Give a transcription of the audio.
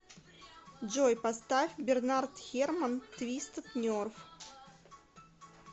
джой поставь бернард херман твистед нерв